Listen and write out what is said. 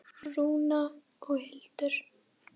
Rúna og Hildur.